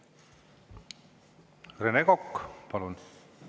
Rene Kokk, palun!